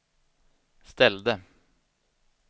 ställde